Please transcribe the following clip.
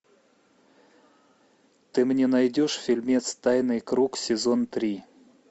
ты мне найдешь фильмец тайный круг сезон три